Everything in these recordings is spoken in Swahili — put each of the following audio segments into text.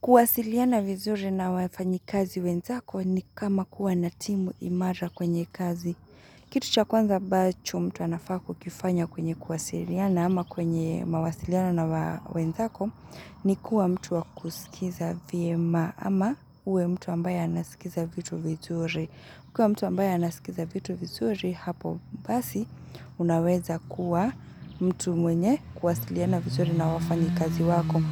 Kuwasiliana vizuri na wafanyi kazi wenzako ni kama kuwa natimu imara kwenye kazi. Kitu cha kwanza ambacho mtu anafa ku kifanya kwenye kuwasiliana ama kwenye mawasiliana na wenzako ni kuwa mtu wakusikiza vyema ama uwe mtu ambaya anasikiza vitu vizuri. Kwa mtu ambaye anasikiza vitu vizuri hapo basi unaweza kuwa mtu mwenye kuwasiliana vizuri na wafanyi kazi wako.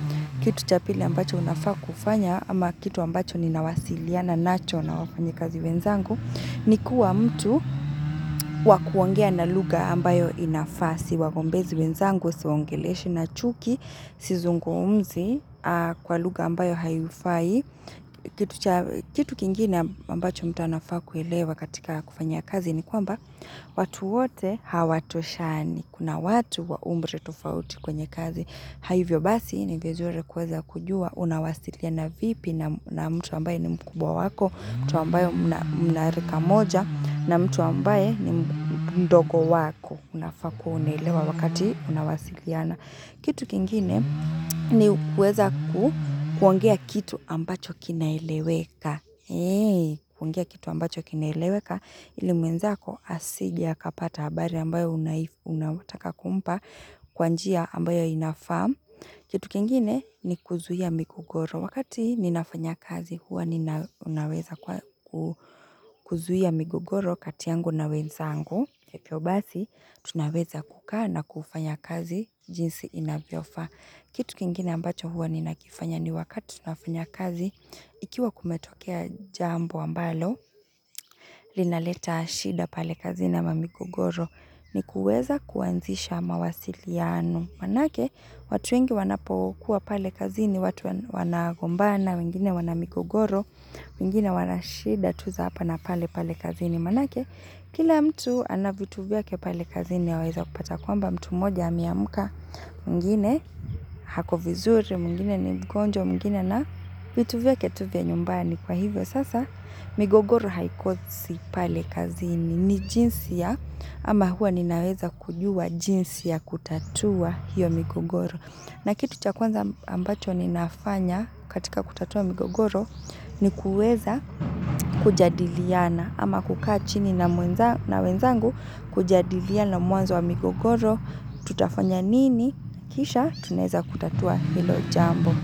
Kitu cha pili ambacho unafaa kufanya ama kitu ambacho ni nawasiliana nacho na wafanya kazi wenzangu Nikuwa mtu wakuongea na lugha ambayo inafaa siwa gombezi wenzangu siwongeleshi na chuki Sizung umzi kwa lugha ambayo haifai Kitu kingine ambacho mta anafaa kuelewa katika kufanya kazi ni kwamba watu wote hawatoshani kuna watu wa umri tofauti kwenye kazi Hivyo basi ni vizuri kweza kujua, unawasilia na vipi na mtu ambaye ni mkubwa wako, mtu ambaye mnarika moja, na mtu ambaye ni mdogo wako, unafaa unaelewa wakati unawasiliana. Kitu kingine ni kuweza kuongea kitu ambacho kinaileweka. Kuongea kitu ambacho kinaileweka ili mwenzako asije akapata habari ambayo unaifu, unawataka kumpa kwanjia ambayo inafam. Kitu kingine ni kuzuia migogoro. Wakati ninafanya kazi huwa ninaweza kuzuia migogoro katiyangu na wenzangu. Hivyo basi, tunaweza kukaa na kufanya kazi jinsi inavyofaa. Kitu kingine ambacho huwa ninakifanya ni wakati nafanya kazi, ikiwa kumetokea jambo ambalo, linaleta shida pale kazi na mamigogoro, ni kuweza kuanzisha mawasiliano. Maanake, watu wengi wanapokuwa pale kazi ni watu wanagombana, wengine wanamigogoro, wengine wanashida tuza hapa na pale pale kazi ni manake. Kila mtu anavituvya ke pale kazini yaweza kupata kwamba mtu mmoja ameamka mwingine ako vizuri mwngine ni mgonjwa mwingine na vituvya ke tu vya nyumbani kwa hivyo sasa migogoro haikosi pale kazini ni jinsi ya ama huwa ninaweza kujua jinsi ya kutatua hiyo migogoro. Na kitu chakwanza ambacho ni nafanya katika kutatua migogoro ni kuweza kujadiliana ama kukaa chini na wenzangu kujadiliana mwanzo wa migogoro tutafanya nini kisha tuneza kutatua hilo jambo.